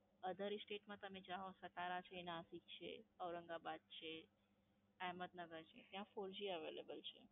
Other State માં તમે જાઓ સતારા છે, નાસિક છે, ઔરંગાબાદ છે, અહેમદનગર છે, ત્યાં Four G Available છે.